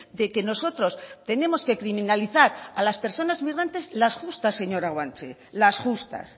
de que nosotros tenemos que criminalizar a las personas migrantes las justas señora guanche las justas